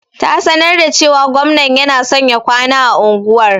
Ta sanar da cewa gwamnan yana son ya kwana a unguwar.